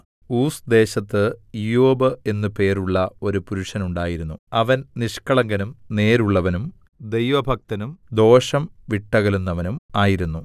Uz ദേശത്ത് ഇയ്യോബ് എന്ന് പേരുള്ള ഒരു പുരുഷൻ ഉണ്ടായിരുന്നു അവൻ നിഷ്കളങ്കനും നേരുള്ളവനും ദൈവഭക്തനും ദോഷം വിട്ടകലുന്നവനും ആയിരുന്നു